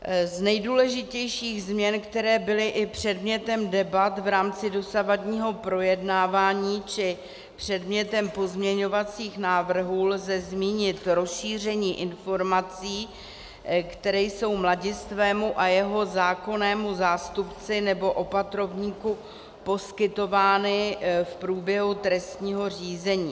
Z nejdůležitějších změn, které byly i předmětem debat v rámci dosavadního projednávání či předmětem pozměňovacích návrhů, lze zmínit rozšíření informací, které jsou mladistvému a jeho zákonnému zástupci nebo opatrovníku poskytovány v průběhu trestního řízení.